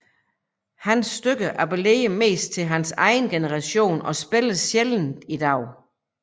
Hans stykker applerede mest til hans egen generation og spilles sjældent i dag